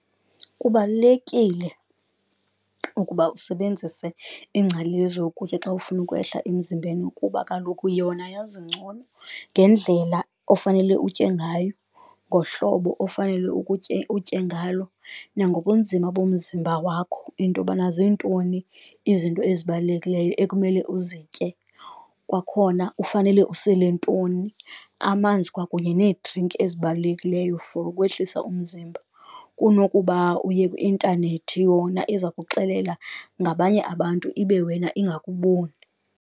Kubalulekile ukuba usebenzise iingcali yezokutya xa ufuna ukwehla emzimbeni kuba kaloku yona yazi ngcono ngendlela ofanele utye ngayo, ngohlobo ofanele ukutye utye ngalo, nangobunzima bomzimba wakho. Into yobana zintoni izinto ezibalulekileyo ekumele uzitye, kwakhona ufanele usele ntoni, amanzi kwakunye needrinki ezibalulekileyo for ukwehlisa umzimba. Kunokuba uye kwi-intanethi yona eza kuxelela ngabanye abantu ibe wena ingakuboni.